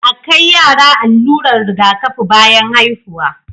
a kai yara allurar Riga kafi bayan haihuwa